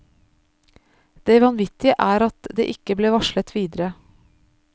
Det vanvittige er at det ikke ble varslet videre.